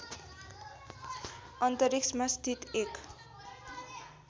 अन्तरिक्षमा स्थित एक